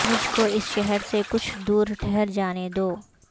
مجھ کو اس شہر سے کچھ دور ٹھہر جانے دو